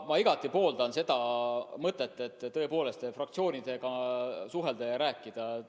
Ma igati pooldan seda mõtet, et tõepoolest tuleb fraktsioonidega suhelda.